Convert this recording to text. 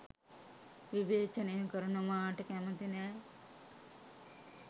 විවේචනය කරනවාට කැමති නෑ.